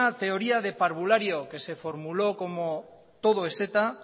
teoría de parvulario que se formuló como todo es eta